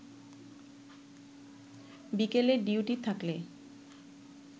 বিকেলে ডিউটি থাকলে